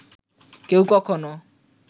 কেউ কখনো